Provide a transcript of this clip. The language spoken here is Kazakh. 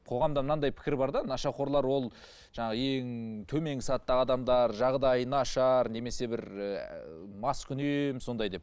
қоғамда мынандай пікір бар да нашақорлар ол жаңағы ең төменгі сатыдағы адамдар жағдайы нашар немесе бір ыыы маскүнем сондай деп